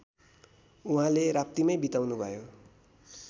उहाँले राप्तीमै बिताउनुभयो